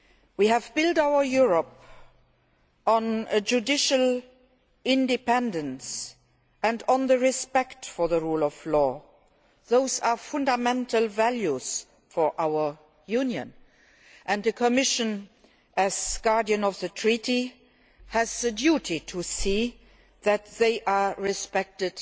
We have built our Europe on judicial independence and on the respect for the rule of law. Those are fundamental values for our Union and the Commission, as guardian of the Treaty, has a duty to see that they are respected